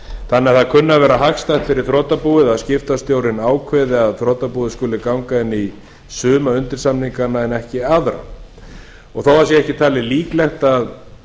þannig að það kunni að vera hagstætt fyrir þrotabúið að skiptastjórinn ákveði að þrotabúið skuli ganga inn í suma undirsamninga en ekki aðra þótt ekki sé talið líklegt að